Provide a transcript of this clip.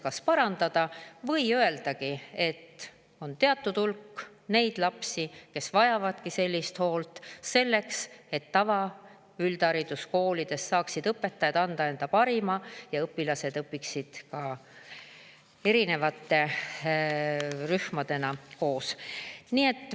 Või siis öelda, et on teatud hulk lapsi, kes vajavadki sellist hoolt, selleks et tavaüldhariduskoolides saaksid õpetajad anda endast parima ja õpilased õpiksid ka erinevate rühmadena koos.